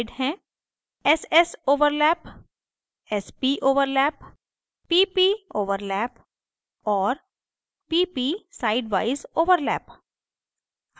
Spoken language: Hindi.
ss overlap sp overlap pp overlap और pp sidewise overlap